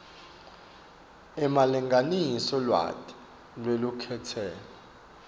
emalengiso lwati lwelukhetselo